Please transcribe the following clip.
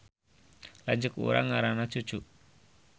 Lanceuk urang ngaranna Cucu